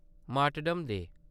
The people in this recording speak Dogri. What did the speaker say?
martyrdom day